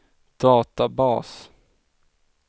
databas